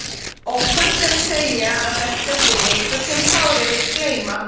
Óhætt er að segja að þetta sé leikur sem Kári vill gleyma.